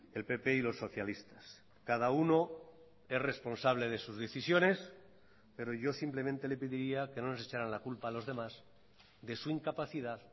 el pp y los socialistas cada uno es responsable de sus decisiones pero yo simplemente le pediría que no nos echaran la culpa a los demás de su incapacidad